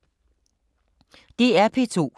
DR P2